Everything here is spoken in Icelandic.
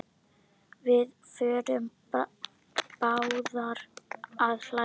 Við förum báðar að hlæja.